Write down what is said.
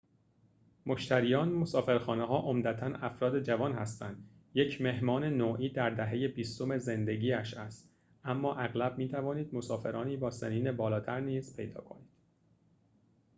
مشتریان مسافرخانه‌ها عمدتاً افراد جوان هستند یک مهمان نوعی در دهه بیستم زندگی‌اش است اما اغلب می‌توانید مسافرانی با سنین بالاتر نیز پیدا کنید